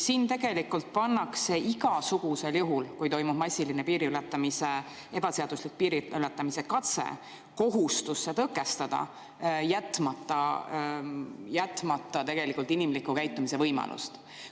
Siin tegelikult pannakse igasugusel juhul, kui toimub massiline ebaseaduslik piiriületamise katse, kohustus see tõkestada, jätmata inimliku käitumise võimalust.